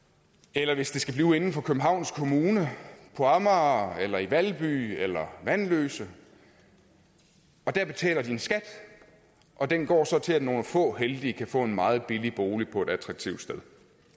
eller hvis det skal blive inden for københavns kommune på amager eller i valby eller vanløse og der betaler de en skat og den går så til at nogle få heldige kan få en meget billig bolig på et attraktivt sted